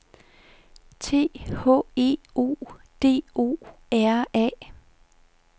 T H E O D O R A